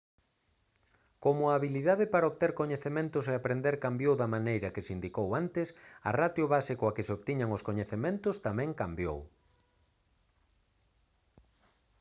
como a habilidade para obter coñecementos e aprender cambiou da maneira que se indicou antes a ratio base coa que se obtiñan os coñecementos tamén cambiou